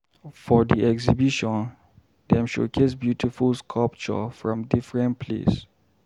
For di exhibition, dem showcase beautiful sculpture from differen place.